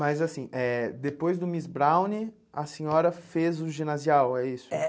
Mas, assim, eh depois do Miss Browne, a senhora fez o ginasial, é isso? É